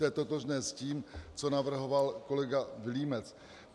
To je totožné s tím, co navrhoval kolega Vilímec.